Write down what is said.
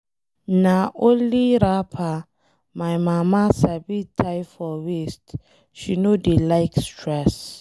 Na only wrapper my mama sabi tie for waist. She no dey like stress.